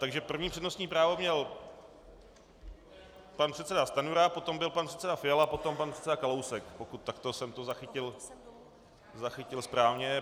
Takže první přednostní právo měl pan předseda Stanjura, potom byl pan předseda Fiala, potom pan předseda Kalousek, pokud takto jsem to zachytil správně.